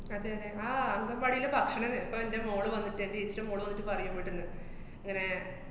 അതെയതെ. ആഹ് അംഗന്‍വാടീലെ ഭക്ഷണം ഇപ്പ എന്‍റെ മോള് വന്നിട്ടേ എന്‍റേച്ചീടെ മോള് വന്നിട്ട് പറയും ഇവ്ട്ന്ന് ങ്ങനെ